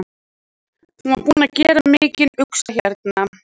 Hann var búinn að gera mikinn usla hérna.